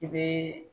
I bɛ